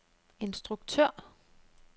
instruktør